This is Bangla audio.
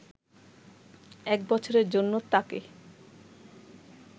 এক বছরের জন্য তাকে